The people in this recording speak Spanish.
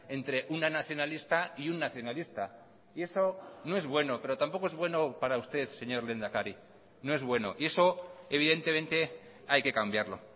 entre una nacionalista y un nacionalista y eso no es bueno pero tampoco es bueno para usted señor lehendakari no es bueno y eso evidentemente hay que cambiarlo